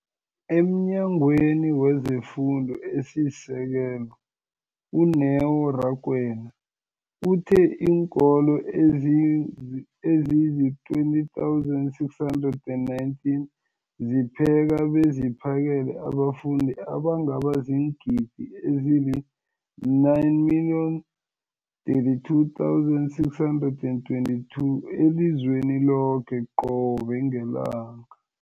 EmNyangweni wezeFundo esiSekelo, u-Neo Rakwena, uthe iinkolo ezizi-20 619 zipheka beziphakele abafundi abangaba ziingidi ezili-9 032 622 elizweni loke qobe ngelanga.